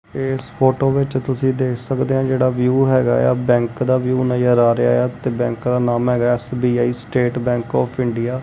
ਏਸ ਫ਼ੋਟੋ ਵਿੱਚ ਤੁਸੀ ਦੇਖ ਸਕਦੇਆ ਜੇਹੜਾ ਵਿਊ ਹੈਗਾ ਯਾ ਬੈਂਕ ਦਾ ਵਿਊ ਨਜ਼ਰ ਆ ਰਿਹਾ ਯਾ ਤੇ ਬੈਂਕ ਦਾ ਨਾਮ ਹੈਗਾ ਯਾ SBI State Bank of India.